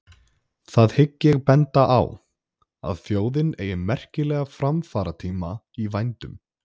Það hygg ég benda á, að þjóðin eigi merkilega framfaratíma í vændum.